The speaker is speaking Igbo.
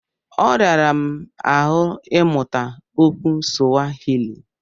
Ọ rara m ahụ ịmụta okwu Suwahili.